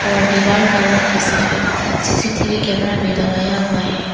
और दीवाल का रंग है सफेद सी_सी_टी_वी कैमरा भी लगाया हुआ है।